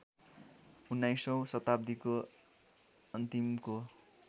उन्नाइसौँ शताब्दीको अन्तिमको